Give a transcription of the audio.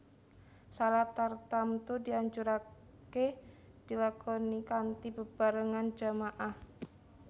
Shalat tartamtu dianjuraké dilakonikanthi bebarengan jama ah